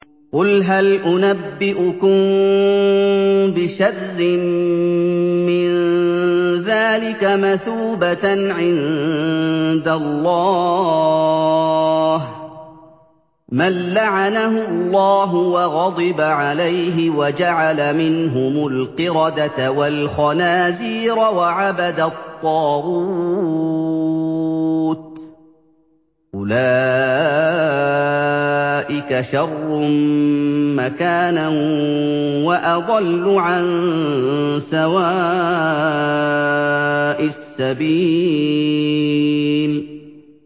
قُلْ هَلْ أُنَبِّئُكُم بِشَرٍّ مِّن ذَٰلِكَ مَثُوبَةً عِندَ اللَّهِ ۚ مَن لَّعَنَهُ اللَّهُ وَغَضِبَ عَلَيْهِ وَجَعَلَ مِنْهُمُ الْقِرَدَةَ وَالْخَنَازِيرَ وَعَبَدَ الطَّاغُوتَ ۚ أُولَٰئِكَ شَرٌّ مَّكَانًا وَأَضَلُّ عَن سَوَاءِ السَّبِيلِ